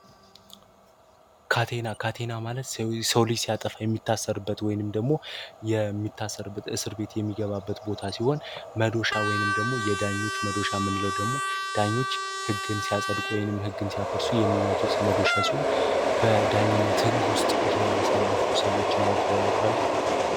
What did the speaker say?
ካቴና ማለት ሰው ልጅ ሲያጠፋ የሚታሰርበት ወይንም ደግሞ የሚታሰርበት እስር ቤት የሚገባበት ቦታ ሲሆን መዶሻ ወይንም ደግሞ የዳኞች መዶሻ ምንለው ደግሞ ዳኞች ሕግን ሲያጸድቅ ወይንም ሕግን ሲያፈርሱ የሚመቱት መዶሻ ሲሆን በዳኝነት ሕግ ውስጥ ያሳለፉ ሰዎችን አይተው ያውቃሉ?